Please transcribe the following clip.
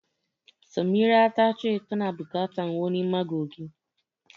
Samira ta ce tana bukata wani magogin.